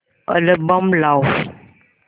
album लाव